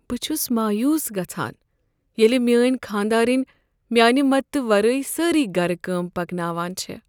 بہٕ چھس مایوس گژھان ییٚلہ میٛٲنۍ خانٛداریٚنۍ میانہ مدتہٕ ورٲے سٲرٕیہ گرٕ کٲم پکناوان چھےٚ۔